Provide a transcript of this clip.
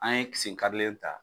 An ye sen karile ta.